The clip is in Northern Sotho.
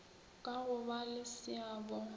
ka go ba le seabo